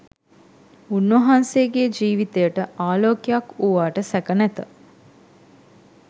උන්වහන්සේගේ ජීවිතයට ආලෝකයක් වූවාට සැක නැත.